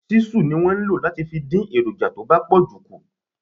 Ṣísù ni wọ́n fi ń dín èròǹjà tó bá pọ̀jù kù.